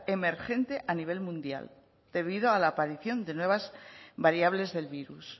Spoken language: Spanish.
emergente a nivel mundial debido a la aparición de nuevas variables del virus